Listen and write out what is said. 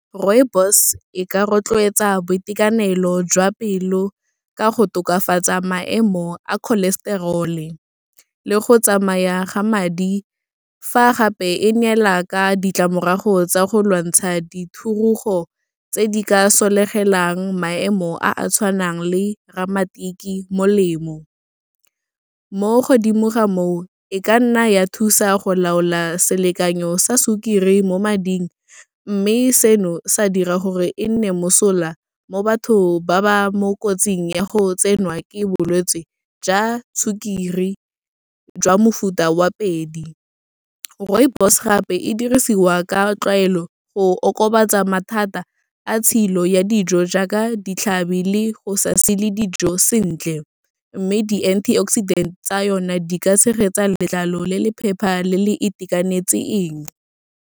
Rooibos e ka rotloetsa boitekanelo jwa pelo ka go tokafatsa maemo a cholesterol-e, le go tsamaya ga madi, fa gape e neela ka ditlamorago tsa go lwantsha dithurogo tse di ka sologelang maemo a a tshwanang le ramatiki, molemo. Mo godimo ga moo, e ka nna ya thusa go laola selekanyo sa sukiri mo mading, mme seno sa dira gore e nne mosola mo bathong ba ba mo kotsing ya go tsenwa ke bolwetse jwa sukiri, jwa mofuta wa pedi. Rooibos gape e dirisiwa ka tlwaelo go okobatsa mathata a tshilo ya dijo, jaaka ditlhabi le go sa sile dijo sentle, mme di-antioxidant-e tsa yona di ka tshegetsa letlalo le le phepa le le itekanetseng.